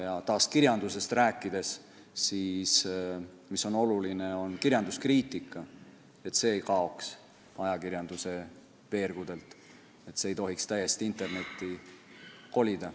Ja taas kirjandusest rääkides on oluline, et kirjanduskriitika ei kaoks ajakirjanduse veergudelt, see ei tohiks täiesti internetti kolida.